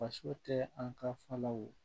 Faso tɛ an ka falaw